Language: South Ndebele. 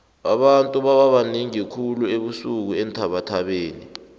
abantu bababanengi khulu ebusuku eenthabathabeni